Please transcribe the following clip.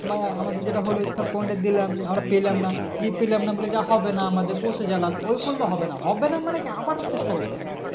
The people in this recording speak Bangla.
বা আমাদের যেটা হলো Smart point তা দিলাম আমরা পেলাম না কি পেলাম না বলে যা হবে না আমাদের বসে গেলাম ওই করলে হবে না হবে না মানে কি আবার চেষ্টা করতে হবে